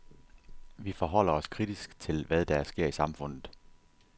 Vi forholder os kritisk til, hvad der sker i samfundet.